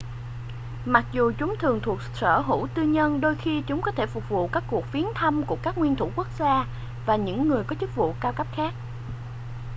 mặc dù chúng thường thuộc sở hữu tư nhân đôi khi chúng có thể phục vụ các cuộc viếng thăm của các nguyên thủ quốc gia và những người có chức vụ cao cấp khác